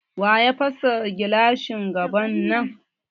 Waya fasa gilashin gaban nan?